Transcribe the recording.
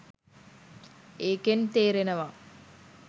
ඒකෙන් තේරෙනවා